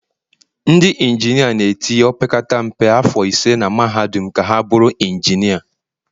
ndị injinia na-etinye opekata mpe afọ 5 na mahadum ka ha bụrụ injinia